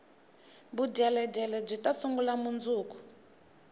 vudyeledyele byita sungula mundzuku